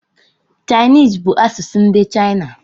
Chinese bú asụsụ ndị China